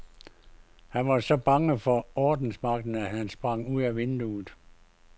Han var så bange for ordensmagten, at han sprang ud af vinduet.